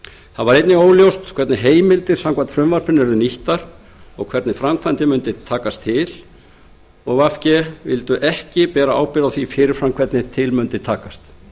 einnig verið óljóst hvernig heimildir samkvæmt frumvarpinu yrðu nýttar og hvernig framkvæmdin mundi takast til vinstri hreyfingin grænt framboð vildi ekki bera ábyrgð á því fyrir fram hvernig til mundi takast